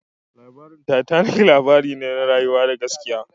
Labarin Titanic labari ne na rayuwa na gaskiya